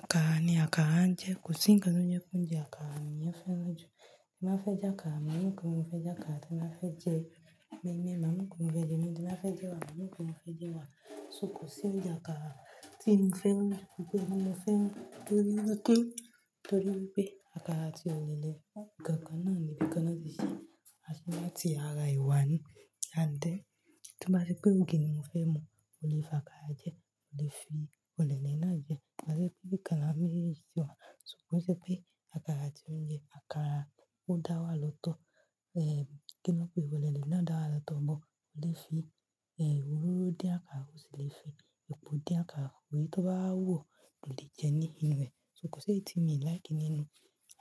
Àkàrà ni àkàrà ń jẹ́. Kò sí ǹkan tó jẹ́ pé ounje àkàrà lè yàn féràn jù. Tí ń bá fẹ́ jẹ àkàrà, màá mo pé mọ fẹ́ jẹ àkàrà. Ti ń bá fẹ́ jẹ moin moin, màá mo pé mọ fẹ́ jẹ moinmoin. Tí ń bá fẹ́ jẹ ewàá, màá mo pé mọ fẹ́ jẹ ewàá. So kò sí oúnjẹ àkàrà tí mi fẹ́ mú, gbogbo ohun mo fẹ́ mú torí wípé, torí wípé àkàrà ati òlèlé. Ikan kan náà ni bí kí lọ́ ṣe ṣí, a ti wá ti ara ewa ni and then. Tí o bá se pé ògì ni mo fẹ́ mu, mò lè fi àkàrà jẹ́, mò lè fi òlèlé náà jẹ́. Wọ́n sọ pé bí kalámù mí sí i wà, ṣùgbọ́n ó jẹ́ pé àkàrà tí ó mo jẹ àkàrà ó dá wà lọ́tọ̀. Eh, kí ni wọ́n pé? Òlèlé náà dára lọ́tọ̀ mọ́, ò lè fi, eh, òróró dín àkàrà, ò sì lè fi epo dín àkàrà. Orí tó bá wú o, òlè jẹ nínú rẹ̀. So kò ṣe é ti mi like nínú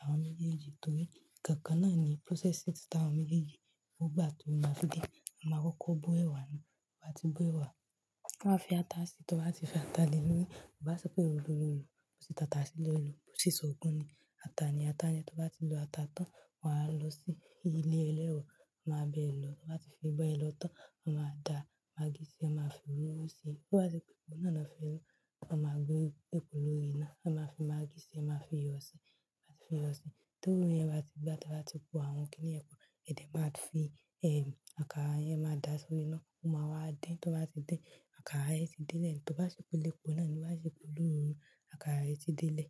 àwọn oúnjẹ yìí torí ikankan náà ni processes ta àwọn oúnjẹ yìí. Ó gbà tó máa fi gé, a máa kó kó bó ẹwà na. Wọ́n bá ti bó ẹ wà, wọ́n á fi ata sí i. Tí wọ́n bá ti fi ata lé lori, bá sọ pé òru òru ni wọ́n sì tatashe lọ́ lo. Bo sì sọ òkun ni ata ni ata ń jẹ́. Tí wọ́n bá ti lo ata tán, wá lọ sí ilé ẹlẹ́ro, wọ́n máa bẹ lọ. Wọ́n bá ti fi bó ẹ lọ tán, wọ́n máa da magí sí i, wọ́n máa fi ororó sí i. Tí wọ́n bá sọ pé epo náà la fi ń mú, wọ́n máa gbé epo lórí iná, wọ́n máa fi magí sí i, wọ́n máa fi iyọ̀ sí i. Wọ́n á ti fi iyọ̀ sí i. Tí òroro yẹn bá ti gbá, tí wọ́n bá ti kó àwọn kíní ẹ̀pọ̀, èdè máa fi, eh, àkàrà yẹn máa da sórí iná. Ó máa wá dín. Tí wọ́n bá ti dín, àkàrà ẹ ti délẹ̀. Tí wọ́n bá sọ pé ilé epo náà ni wọ́n bá sọ pélu ororo ni, àkàrà ẹ ti délẹ̀